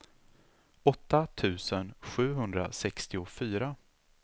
åtta tusen sjuhundrasextiofyra